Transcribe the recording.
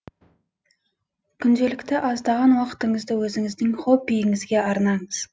күнделікті аздаған уақытыңызды өзіңіздің хоббиіңізге арнаңыз